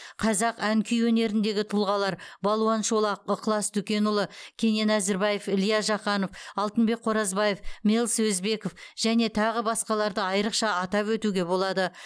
қазақ ән күй өнеріндегі тұлғалар балуан шолақ ықылас дүкенұлы кенен әзірбаев илья жақанов алтынбек қоразбаев мэлс өзбеков және тағы басқаларды айрықша атап өтуге болады